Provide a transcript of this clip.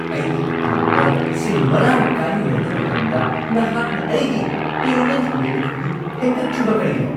ꯑꯩꯒꯤ ꯑꯦꯀꯥꯎꯟꯠꯇ ꯁꯦꯜ ꯃꯔꯥꯡ ꯀꯥꯏꯅ ꯂꯩꯕ ꯃꯇꯝꯗ ꯅꯍꯥꯛꯅ ꯑꯩꯒꯤ ꯄꯦꯃꯦꯟꯠ ꯂꯤꯃꯤꯠ ꯑꯗꯨ ꯍꯦꯟꯒꯠꯇ꯭ꯔꯤꯕ ꯀꯔꯤꯒꯤꯅꯣ?